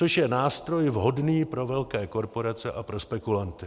Což je nástroj vhodný pro velké korporace a pro spekulanty.